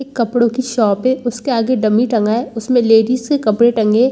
एक कपड़ों की शॉप है उसके आगे डम्मी टंगा है उसमें लेडीज के कपड़े टंगे --